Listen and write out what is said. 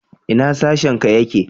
Ina sashen ka yake?